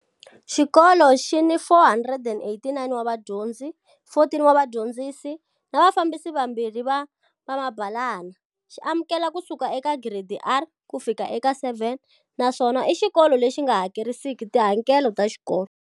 Xikolo xi ni 489 wa vadyondzi, 14 wa vadyondzisi, na vafambisi vambirhi va vamabalana. Xi amukela ku suka eka giredi R ku fika eka 7 naswona i xikolo lexi nga hakerisiki tihakelo ta xikolo.